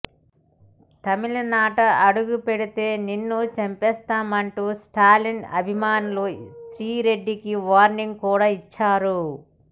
తమిళనాట అడుగుపెడితే నిన్ను చంపేస్తామంటూ స్టాలిన్ అభిమానులు శ్రీ రెడ్డికి వార్నింగ్ కూడా ఇచ్చారు